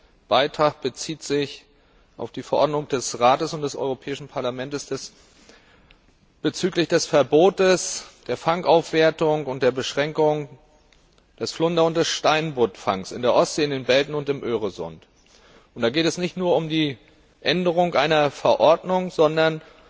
Mein Beitrag bezieht sich auf die Verordnung des Rates und des Europäischen Parlaments bezüglich des Verbots der Fangaufwertung und der Beschränkung des Flunder und des Steinbuttfangs in der Ostsee, in den Belten und im Öresund. Und da geht es nicht nur um die Änderung einer Verordnung, sondern